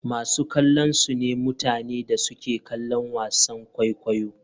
Masu kallo sune mutane da suke kallon wasan kwaikwayo.